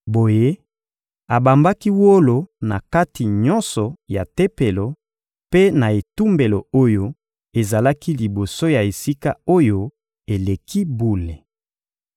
Boye, abambaki wolo na kati nyonso ya Tempelo mpe na etumbelo oyo ezalaki liboso ya Esika-Oyo-Eleki-Bule.